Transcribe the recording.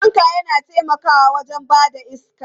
Fanka yana taimakawa wajen ba da iska.